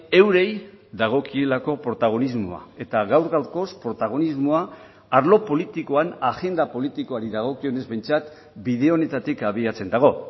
eurei dagokielako protagonismoa eta gaur gaurkoz protagonismoa arlo politikoan agenda politikoari dagokionez behintzat bide honetatik abiatzen dago